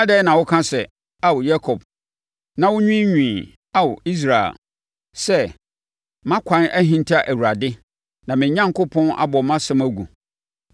Adɛn na woka sɛ, Ao Yakob, na wonwiinwii, Ao Israel sɛ, “Mʼakwan ahinta Awurade; na me Onyankopɔn abɔ mʼasɛm agu”?